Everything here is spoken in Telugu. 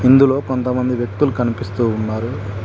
ఇందులో కొంత మంది వ్యక్తిలు కనిపిస్తు ఉన్నారు.